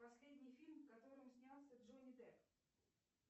последний фильм в котором снялся джонни депп